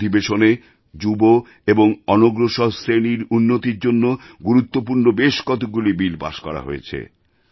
এই অধিবেশনে যুব এবং অনগ্রসর শ্রেণির উন্নতির জন্য গুরুত্বপূর্ণ বেশ কতগুলো বিল পাস করা হয়েছে